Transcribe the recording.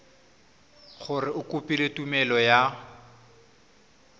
gore o kopile tumelelo ya